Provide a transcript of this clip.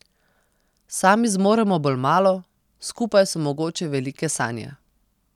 Sami zmoremo bolj malo, skupaj so mogoče velike sanje.